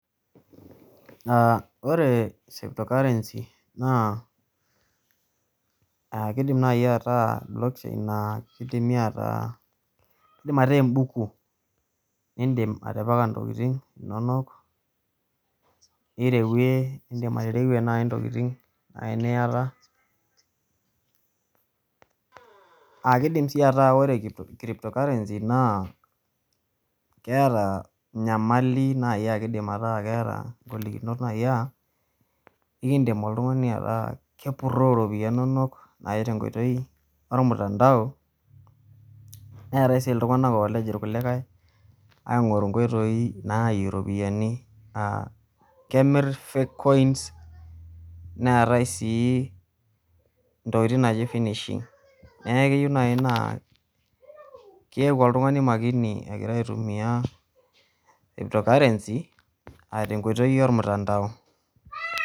Ore crypto currency naa kidim nai ataa website naa kidimi ataa kidim ataa ebuku nidim atipika intokiting inonok, nirewue idim atereyie nai intokiting eniyata, akidim si ataa ore crypto currency naa, keeta nyamali akidim ataa keeta golikinot nai ah, ekidim oltung'ani ataa kepurroo ropiyiani nonok nai tenkoitoi ormtandao, neetae si iltung'anak olej irkulikae, aing'oru nkoitoii naayie ropiyiani, kemir fake coins, neetae si intokiting naji finishing. Neeku keyieu nai naa keeku oltung'ani makini egira aitumia crypto currency ah tenkoitoi ormtandao.